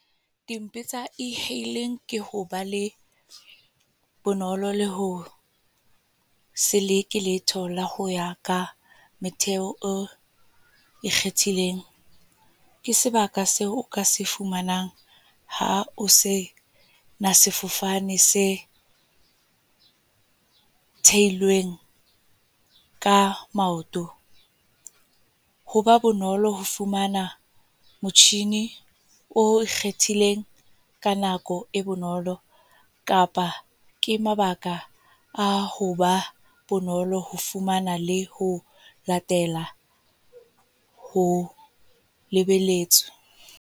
Dimpe tsa e-hailing, ke hoba le bonolo le ho seleke letho le ho ya ka metheo e ikgethileng. Ke sebaka seo o ka se fumanang, ha o se sefofane se theilweng ka maoto. Ho ba bonolo ho fumana motjhini o ikgethileng ka nako e bonolo. Kapa ke mabaka a hoba bonolo ho fumana le ho latela ho lebeletswe.